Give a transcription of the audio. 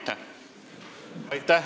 Aitäh!